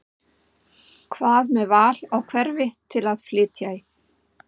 Hvað með val á hverfi til að flytja í?